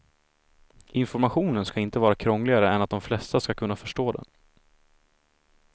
Informationen ska inte vara krångligare än att de flesta ska kunna förstå den.